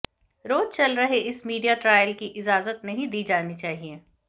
रोज चल रहे इस मीडिया ट्रायल की इजाजत नहीं दी जानी चाहिए